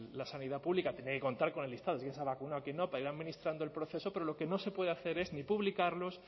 la sanidad pública tendría que contar con el listado quién se ha vacunado quién no para ir administrando el proceso pero lo que no se puede hacer es ni publicarlos